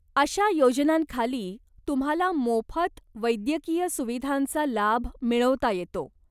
अशा योजनांखाली तुम्हाला माेफत वैद्यकीय सुविधांचा लाभ मिळवता येतो.